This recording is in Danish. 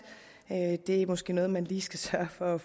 det er måske noget man lige skal sørge for at